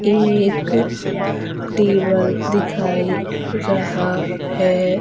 एक टेबल दिखाई रहा है।